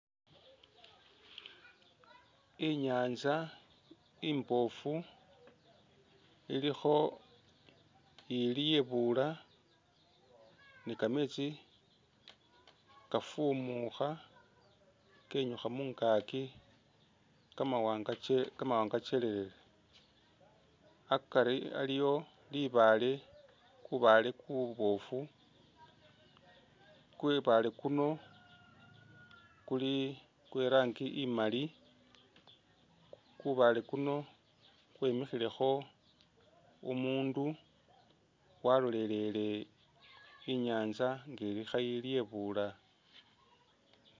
Inyanza imbofu ilikho ili ilyebula ni kametsi kafuumukha kenyukha asi ka mawanga chelelele, akari aliwo libaale, kubaale kuboofu ku baale kuno kuli kwe rangi imali, kubaale kuno khwemikhilekho umundu walolelele inyatsa nga ilikho yilyebula.